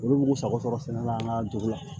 Olu b'u sago sɔrɔ sɛnɛ la an ka dugu la